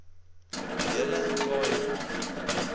hele khai ma